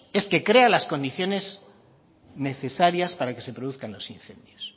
es que crea las condiciones necesarias para que se produzcan los incendios